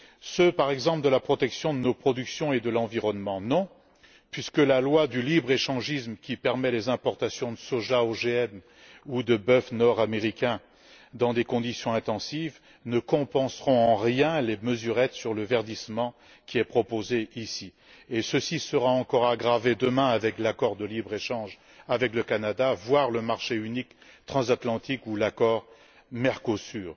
Ceux, par exemple, de la protection de nos productions et de l'environnement? Non, puisque la loi du libre échangisme, qui permet les importations de soja OGM ou de bœuf nord américain dans des conditions intensives, ne compensera en rien les mesurettes sur le verdissement qui est proposé ici. Et ceci sera encore aggravé demain avec l'accord de libre échange avec le Canada, voire le marché unique transatlantique ou l'accord avec le Mercosur.